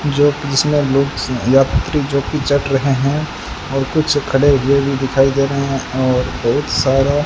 जो जिसमे लोग यात्री जो की चल रहे हैं और कुछ खड़े हुए भी दिखाई दे रहे हैं और बहुत सारा --